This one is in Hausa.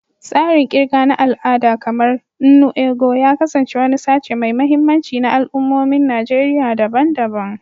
Tsarin ƙirga na al'ada, kamar "nnu ego," ya kasance wani sashe mai mahimmanci na al'ummomin Najeriya daban-daban.